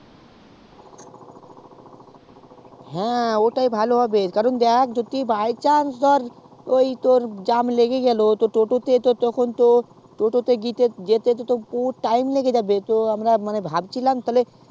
হ্যাঁ ওটাই ভালো হবে কারণ দেখ by chance ধরে যদি জ্যাম লেগে গেলো টোটো তে তখন তো ততটা যেতে বহুত time লেগে যাবে তো আমরা ভাবছিলাম যে